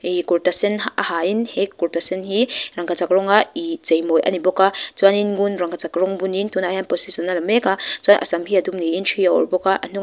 ih kurta sen a hain he kurta sen hi rangkachak rawnga ih cheimawi a ni bawk a chuanin ngun rangkachak rawng bunin tunah hian position a la mek a chuan a sam hi a dum niin ṭhi a awrh bawk a a hnungah --